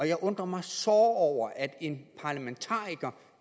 jeg undrer mig såre over at en parlamentariker